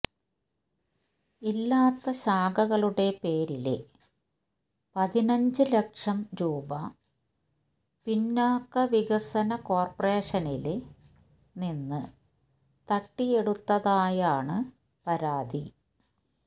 ഇല്ലാത്ത ശാഖകളുടെ പേരില് പതിനഞ്ച് ലക്ഷം രൂപ പിന്നാക്ക വികസന കോര്പ്പറേഷനില് നിന്ന് തട്ടിയെടുത്തതായാണ് പരാതി